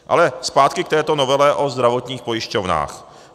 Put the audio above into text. Ale zpátky k této novele o zdravotních pojišťovnách.